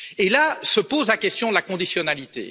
Et là se pose la question de la conditionnalité.